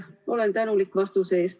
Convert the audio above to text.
Ma olen tänulik vastuse eest.